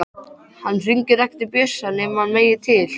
Hann hringir ekki til Bjössa nema hann megi til.